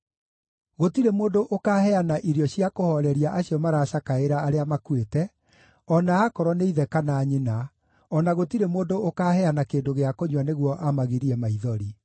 Gũtirĩ mũndũ ũkaaheana irio cia kũhooreria acio maracakaĩra arĩa makuĩte, o na akorwo nĩ ithe kana nyina, o na gũtirĩ mũndũ ũkaaheana kĩndũ gĩa kũnyua nĩguo amagirie maithori.